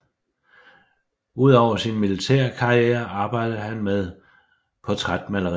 Udover sin militære karriere arbejdede han med portrætmaleri